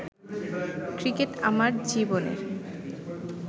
cricket আমার জীবনের